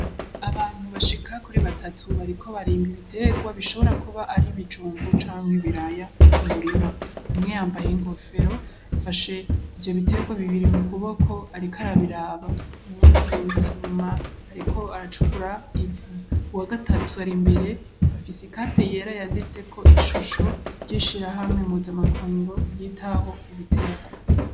Abantu bashika kuri batatu bariko barimba ibitegwa bishobora kuba ari ibijumbu cankwe ibiraya mu murima; umwe yambaye inkofero afashe ivyo bitegwa bibiri mukuboko ariko arabiraba, uwundi yubitse inyuma ariko aracukura ivu. Uwagatatu arimbere aifise ikape yera yanditseko ishusho ry'ishirahamwe mpuzamakungu ryitaho ibitegwa.